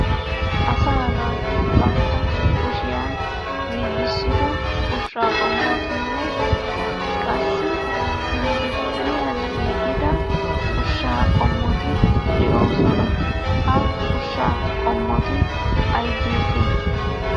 Asaa naati bantta kushiyan giigissido ushshaa qommotinne qassi industtiriyan giigida ushshaa qommoti de'oosona. Ha ushshaa qommoti ayigeetee?